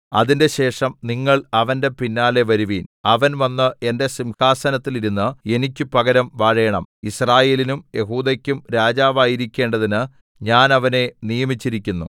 അതിന്‍റെശേഷം നിങ്ങൾ അവന്റെ പിന്നാലെ വരുവിൻ അവൻ വന്ന് എന്റെ സിംഹാസനത്തിൽ ഇരുന്ന് എനിക്ക് പകരം വാഴേണം യിസ്രായേലിനും യെഹൂദെക്കും രാജാവായിരിക്കേണ്ടതിന് ഞാൻ അവനെ നിയമിച്ചിരിക്കുന്നു